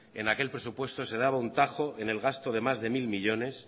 en aquel presupuesto se daba un tajo en el gasto de más de mil millónes